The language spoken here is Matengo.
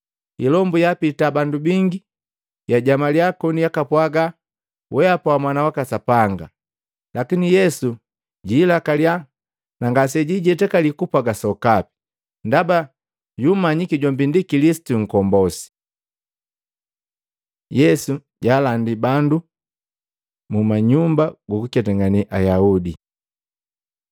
Ilombu yaapita bandu bingi, yajamalia koni yakapwaga, “Wehapa Mwana waka Sapanga!” Lakini Yesu jiilakaliya na ngasejiijetakali kupwaga sokapi, ndaba yumanyiki jombi ndi Kilisitu Nkombosi. Yesu jaalandi bandu muma nyumba gukuketangane Ayaudi Maluko 1:35-39